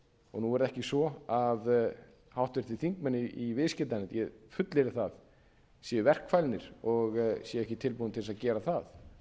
og nú er það ekki svo að háttvirtir þingmenn í viðskiptanefnd ég fullyrði það séu verkfælnir og séu ekki tilbúnir til þess að gera það